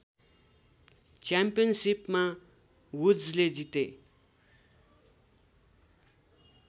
च्याम्पियनसिपमा वुड्सले जिते